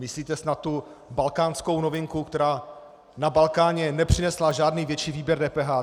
Myslíte snad tu balkánskou novinku, která na Balkáně nepřinesla žádný větší výběr DPH?